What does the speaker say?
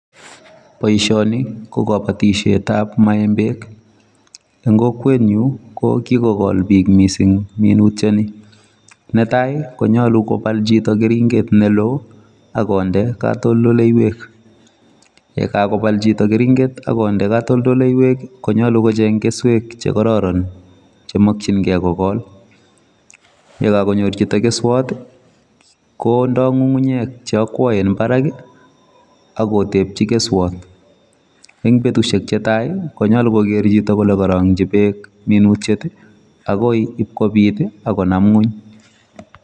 Boishoni ko kabatishetap maembek. Eng kokwenyu ko kikokol biik mising minutyoni. Netai konyolu kopal chito keringet neloo akonde katoldoleywek. Yekakopal chito keringet akonde katoldoleywek konyolu kocheng keswek chekororon chemokchingei kokol. Yekakonyor chito keswot kondoi ng'ung'unyek cheakwoen barak akotepchi keswot. Eng betushek chetai konyolu koker chito kole karong'chi beek akoi ipkopit akonam ng'uny.